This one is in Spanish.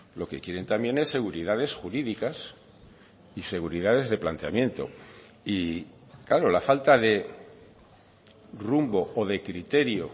lo que quieren también es seguridades jurídicas y seguridades de planteamiento y claro la falta de rumbo o de criterio